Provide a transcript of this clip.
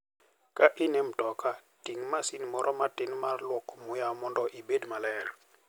Ka in e mtoka, ting' masin moro matin mar lwoko muya mondo obed maler.